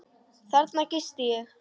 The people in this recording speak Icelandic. Þarna gisti ég.